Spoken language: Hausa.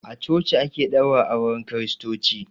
A coci ake ɗaura auren kristoci.